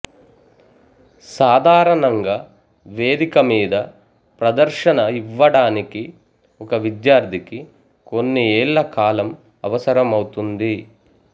సాధారణంగా వేదిక మీద ప్రదర్శన ఇవ్వడానికి ఒక విద్యార్థికి కొన్ని ఏళ్ళ కాలం అవసరమౌతుంది